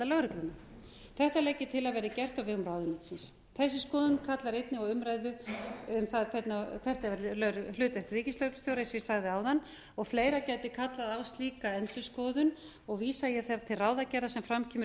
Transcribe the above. lögregluna þetta legg ég til að verði gert á vegum ráðuneytisins þessi skoðun kallar einnig á umræðu um það hvert verði hlutverk ríkislögreglustjóra eins og ég sagði áðan fleira gæti kallað á slíka endurskoðun og vísa ég þar til ráðagerða sem fram kemur í